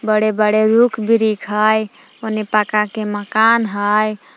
बड़े बड़े रुख बीरिख हइ ओने पक्का के मकान हइ।